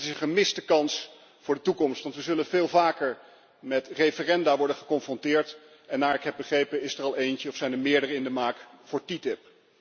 Het is ook een gemiste kans voor de toekomst, want we zullen veel vaker met referenda worden geconfronteerd en, naar ik heb begrepen, is er al eentje of meerdere in de maak voor TTIP.